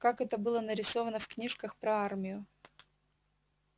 как это было нарисовано в книжках про армию